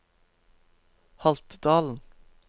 Haltdalen